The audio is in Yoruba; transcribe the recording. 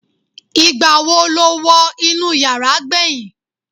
igbawo lo wo inú yara gbeyin